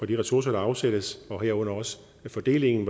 de ressourcer der afsættes herunder også fordelingen